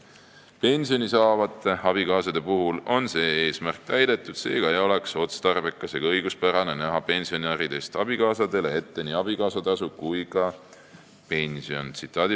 Pensioni saavate abikaasade puhul on see eesmärk täidetud, seega ei oleks otstarbekas ega õiguspärane näha pensionäridest abikaasadele ette nii abikaasatasu kui ka pension.